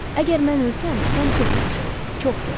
Əgər mən ölsəm, sən çox yaşa, çox gəz.